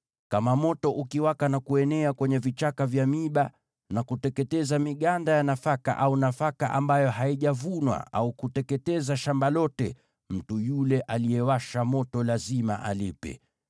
“Kama moto ukiwaka na kuenea kwenye vichaka vya miiba na kuteketeza miganda ya nafaka au nafaka ambayo haijavunwa, au kuteketeza shamba lote, mtu yule aliyewasha moto lazima alipe.